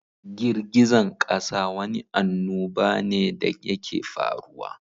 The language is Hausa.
Girgizan ƙasa Wani annubane da yake faruwa.